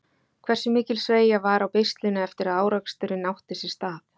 Hversu mikil sveigja var á beislinu eftir að áreksturinn átti sér stað?